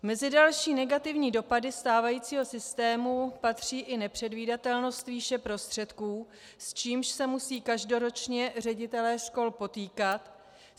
Mezi další negativní dopady stávajícího systému patří i nepředvídatelnost výše prostředků, s čímž se musí každoročně ředitelé škol potýkat.